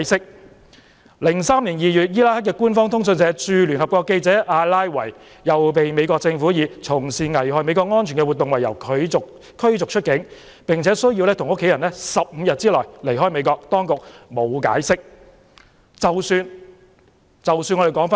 在2003年2月，伊拉克官方通訊社駐聯合國記者阿拉維被美國政府以"從事危害美國安全的活動"為由驅逐出境，並需要與其家人在15天內離開美國，當局沒有解釋。